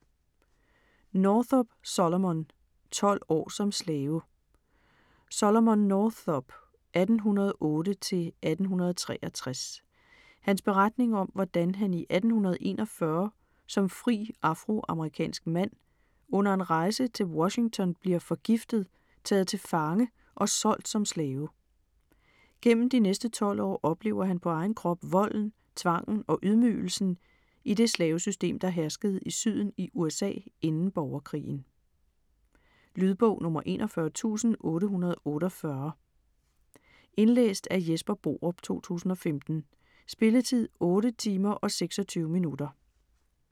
Northup, Solomon: Tolv år som slave Solomon Northups (1808-1863) beretning om hvordan han i 1841 som fri afroamerikansk mand under en rejse til Washington bliver forgiftet, taget til fange og solgt som slave. Gennem de næste 12 år oplever han på egen krop volden, tvangen og ydmygelsen i det slavesystem, der herskede i Syden i USA inden borgerkrigen. Lydbog 41848 Indlæst af Jesper Borup, 2015. Spilletid: 8 timer, 26 minutter.